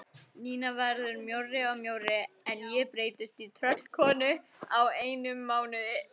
Nína verður mjórri og mjórri en ég breytist í tröllkonu á einum mánuði.